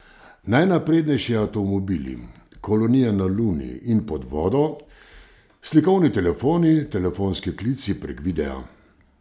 Najnaprednejši avtomobili, kolonije na luni in pod vodo, slikovni telefoni, telefonski klici prek videa ...